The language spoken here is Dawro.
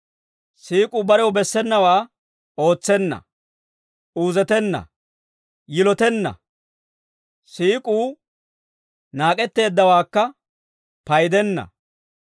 Siik'uu barew bessenawaa ootsenna; Uuzeetenna; Yilotenna; Siik'uu naak'etteeddawaakka paydenna.